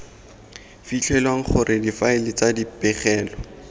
fitlhelwang gore difaele tsa dipegelo